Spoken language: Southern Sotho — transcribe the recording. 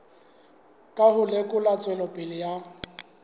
ka ho lekola tswelopele ya